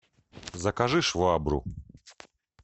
закажи швабру